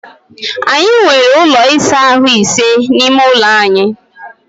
Anyị nwere ụlọ ịsa ahụ́ ise n’ime ụlọ anyị